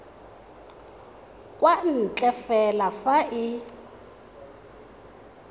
kwa ntle fela fa e